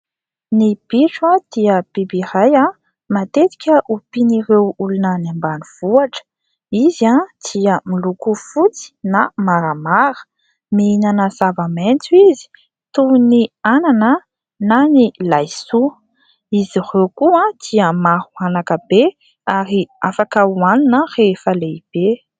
Ny bitro dia biby iray matetika ompian'ireo olona any ambanivohitra. Izy dia miloko fotsy na maramara. Mihinana zava-maitso izy toy ny anana na ny laisoa. Izy ireo koa dia maro anaka be ary afaka hohanina rehefa lehibe.